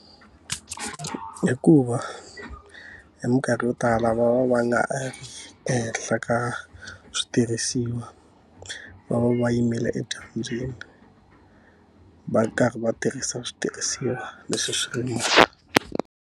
Hikuva hi mikarhi yo tala va va va nga ehenhla ka switirhisiwa. Va va va yimele edyambyini, va karhi va tirhisa switirhisiwa leswi swi .